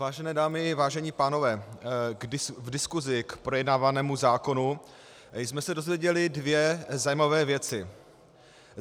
Vážené dámy, vážení pánové, v diskusi k projednávanému zákonu jsme se dozvěděli dvě zajímavé věci.